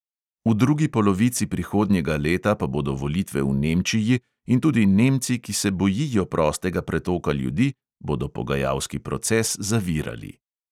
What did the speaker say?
V drugi polovici prihodnjega leta pa bodo volitve v nemčiji in tudi nemci, ki se bojijo prostega pretoka ljudi, bodo pogajalski proces zavirali.